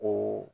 O